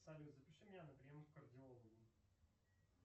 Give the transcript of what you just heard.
салют запиши меня на прием к кардиологу